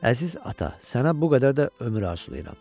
Əziz ata, sənə bu qədər də ömür arzulayıram.